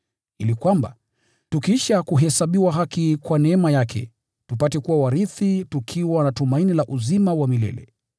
ili kwamba, tukiisha kuhesabiwa haki kwa neema yake, tupate kuwa warithi tukiwa na tumaini la uzima wa milele.